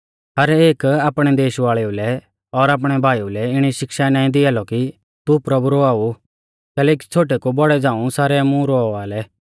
हर एक आपणै देश वाल़ेऊ लै और आपणै भाईऊ लै इणी शिक्षा नाईं दिआ लौ कि तू प्रभु रवाऊ कैलैकि छ़ोटै कु बौड़ै झ़ांऊ सारै मुं रवावा लै